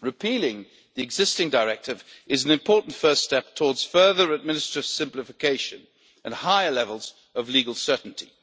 Repealing the existing directive is an important first step towards further administrative simplification and higher levels of legal certainty.